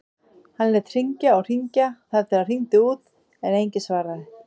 Hann lét hringja og hringja þar til það hringdi út en enginn svaraði.